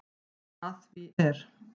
Að því er